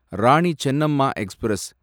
Rani Chennamma express